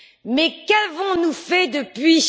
Mais qu'avons nous fait depuis?